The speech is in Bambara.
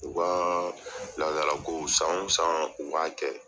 U ka ladarakow san o san u b'a kɛ.